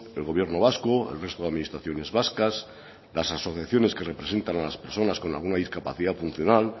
el gobierno vasco el resto de administraciones vascas las asociaciones que representan a las personas con alguna discapacidad funcional